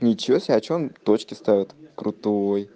ничего себе а что он точки ставит крутой